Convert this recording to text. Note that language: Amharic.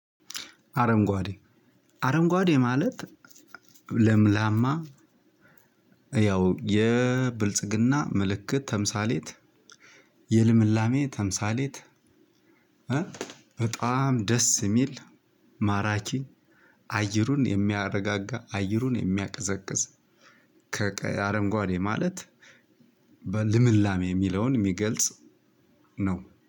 አረንጓዴ አረንጓዴ ማለት ለምላማ። ያው የብልጽግና ምልክት ተምሳሌት የልምላሜ ተምሳሌት። በጣም ደስ የሚል ማራኪ አየሩን የሚያረጋጋ አይሩን የሚያቀዘቅዝ። ከቀይ አረንጓዴ ማለት በልምላሜ የሚለውን የሚገልጽ ነው